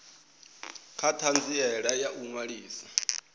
kha ṱhanziela ya u ṅwalisa